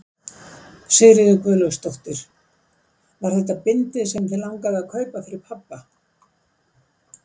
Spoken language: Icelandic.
Sigríður Guðlaugsdóttir: Var þetta bindið sem þig langaði að kaupa fyrir pabba?